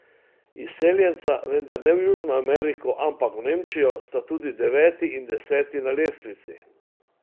Izseljenca, vendar ne v Južno Ameriko, ampak v Nemčijo, sta tudi deveti in deseti na lestvici.